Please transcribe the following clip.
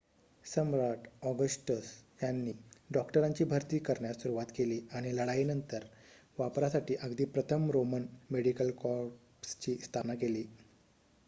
सम्राट Augustus यांनी डॉक्टरांची भरती करण्यास सुरवात केली आणि लढाईनंतरही वापरासाठी अगदी प्रथम रोमन मेडिकल कॉर्प्सची स्थापना केली